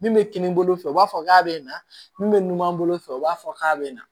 Min bɛ kini bolo fɛ u b'a fɔ k'a bɛ na min bɛ numan bolo fɛ u b'a fɔ k'a bɛ na